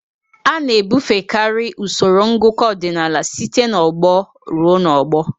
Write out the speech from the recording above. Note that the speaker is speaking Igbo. A na-ebufekarị usoro ngụkọ ọdịnala site n'ọgbọ ruo n'ọgbọ.